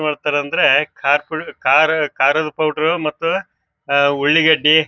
ತಾ ಮಾಡತಾರಂದ್ರೆ ಕಾರದಪು ಕಾರ ಕಾರದ ಪೌಡರ್ ಮತ್ತ ಅಹ್ ಉಳ್ಳಿಗಡ್ಡಿ --